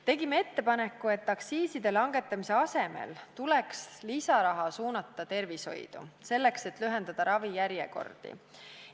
Tegime ettepaneku, et aktsiiside langetamise asemel tuleks lisaraha suunata tervishoidu, selleks et lühendada ravijärjekordi.